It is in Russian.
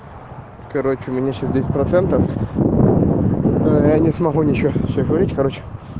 короче у меня сейчас десять процентов аа я не смогу ничего всё говорить короче